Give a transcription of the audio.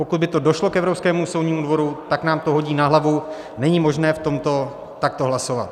Pokud by to došlo k Evropskému soudnímu dvoru, tak nám to hodí na hlavu, není možné v tomto takto hlasovat.